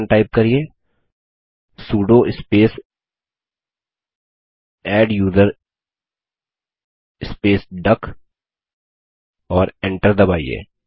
command type करिये sudo space adduser space duck और enter दबाइए